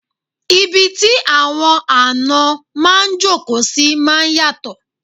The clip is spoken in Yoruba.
Ibi tí àwọn àná máa jókòó sí máa yàtò